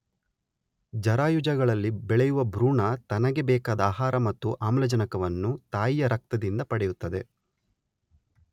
ಜರಾಯುಜಗಳಲ್ಲಿ ಬೆಳೆಯುವ ಭ್ರೂಣ ತನಗೆ ಬೇಕಾದ ಆಹಾರ ಮತ್ತು ಆಮ್ಲಜನಕವನ್ನು ತಾಯಿಯ ರಕ್ತದಿಂದ ಪಡೆಯುತ್ತದೆ